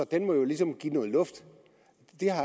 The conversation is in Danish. den må jo ligesom give noget luft